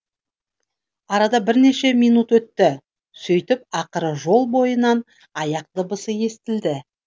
арада бірнеше минут өтті сөйтіп ақыры жол бойынан аяқ дыбысы естілді